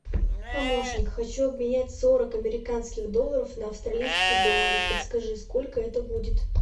помощник хочу обменять сорок американских долларов на австралийские доллары подскажи сколько это будет